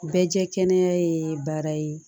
Bɛɛ jɛ kɛnɛ ye baara ye